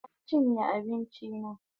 Na chinye abinchi na